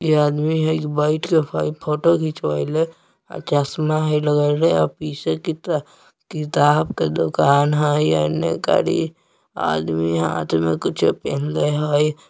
यह आदमी है जो बैठ के खली फोटो खीचवईले अ चस्मा हई लगैले अ पीछे किता किताब के दुकान हई अ एने खली आदमी हाथ में कुछो पेन्हले हई |